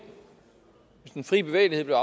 hvis den frie bevægelighed blev